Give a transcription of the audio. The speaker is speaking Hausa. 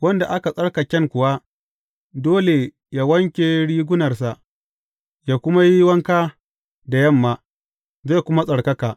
Wanda aka tsarkaken kuwa, dole yă wanke rigunarsa, yă kuma yi wanka da yamma, zai kuma tsarkaka.